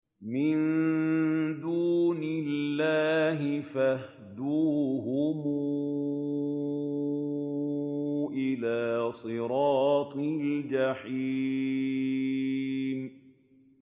مِن دُونِ اللَّهِ فَاهْدُوهُمْ إِلَىٰ صِرَاطِ الْجَحِيمِ